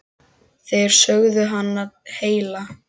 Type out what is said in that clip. Þeir sögðu hana heila.